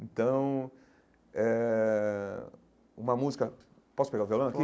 Então eh, uma música... Posso pegar o violão aqui?